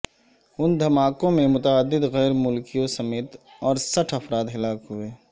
ان دھماکوں میں متعدد غیر ملکیوں سمیت اڑسٹھ افراد ہلاک ہوئے